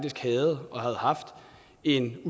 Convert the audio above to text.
en